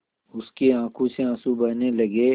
उसकी आँखों से आँसू बहने लगे